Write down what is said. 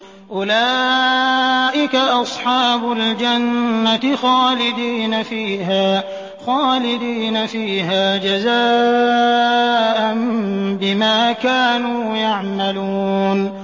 أُولَٰئِكَ أَصْحَابُ الْجَنَّةِ خَالِدِينَ فِيهَا جَزَاءً بِمَا كَانُوا يَعْمَلُونَ